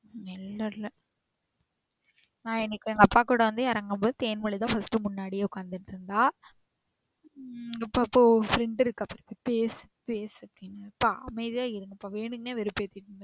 இல்ல இல்ல இன்னைக்கு எங்க அப்பா கூட வந்து இறங்கும் போது தேன்மொழி தான் first முன்னாடியே உக்காந்துட்டு இருந்தா. உம் எங்க அப்பா friend இருக்கா போய் பேசு பேசு அப்டினாரு. அப்பா அமைதியா இருங்க அப்பா வேணும்னே வெறுப்பு ஏத்திகிட்டு